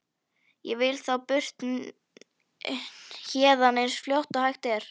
Ég vil þá burt héðan eins fljótt og hægt er.